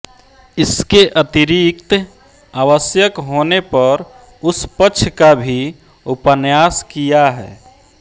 इसके अतिरिक्त आवश्यक होने पर उस पक्ष का भी उपन्यास किया है